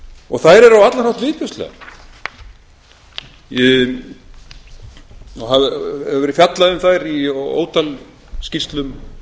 í dag þær eru á allan hátt viðbjóðslegar og hefur verið fjallað um þær í ótal skýrslum